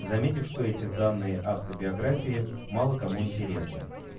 заметив что эти данные автобиографии мало кому интересны